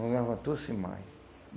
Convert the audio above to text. Não levantou-se mais.